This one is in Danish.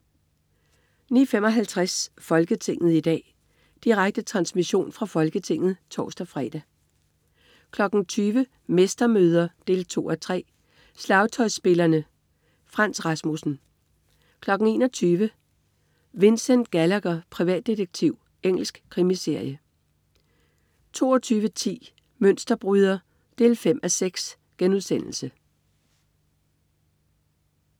09.55 Folketinget i dag. Direkte transmission fra Folketinget (tors-fre) 20.00 Mestermøder 2:3. Slagtøjsspillerne. Frans Rasmussen 21.00 Vincent Gallagher, privatdetektiv. Engelsk krimiserie 22.10 Mønsterbryder 5:6*